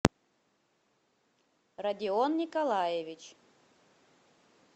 родион николаевич